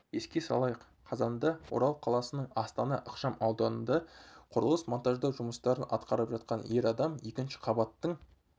еске салайық қазанда орал қаласының астана ықшамауданында құрылыс монтаждау жұмыстарын атқарып жатқан ер адам екінші қабаттың